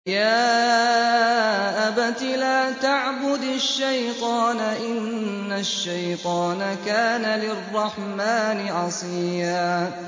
يَا أَبَتِ لَا تَعْبُدِ الشَّيْطَانَ ۖ إِنَّ الشَّيْطَانَ كَانَ لِلرَّحْمَٰنِ عَصِيًّا